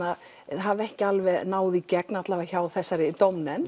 hafi ekki alveg náð í gegn ekki hjá þessari dómnefnd